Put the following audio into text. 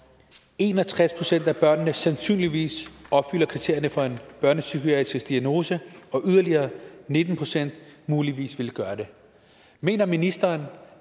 en og tres procent af børnene sandsynligvis opfylder kriterierne for en børnepsykiatrisk diagnose og yderligere nitten procent muligvis vil gøre det mener ministeren